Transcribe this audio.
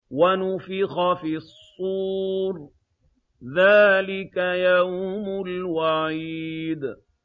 وَنُفِخَ فِي الصُّورِ ۚ ذَٰلِكَ يَوْمُ الْوَعِيدِ